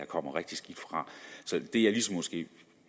komme rigtig skidt fra